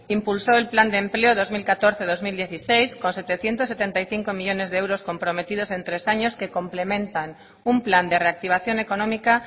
impulsó el plan de empleo dos mil catorce dos mil dieciséis con setecientos setenta y cinco millónes de euros comprometidos en tres años que complementan un plan de reactivación económica